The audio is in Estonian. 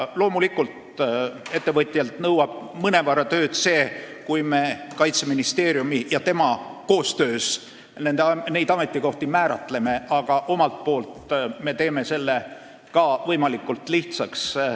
Loomulikult, ettevõtjalt nõuab mõnevõrra tööd see, kui Kaitseministeerium temaga koostöös neid ametikohti kindlaks määrab, aga omalt poolt me teeme selle võimalikult lihtsaks.